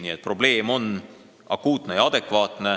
Nii et probleem on akuutne ja probleemipüstitus adekvaatne.